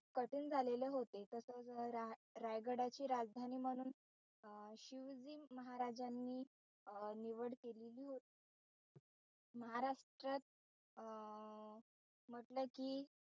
कठीण झालेले होते रायगडाची राजधानी म्हणून शिवाजी महाराजांनी अं निवड केलेली होती. महाराष्ट्रात अं म्हटलं कि,